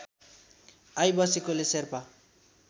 I बसेकोले शेर्पा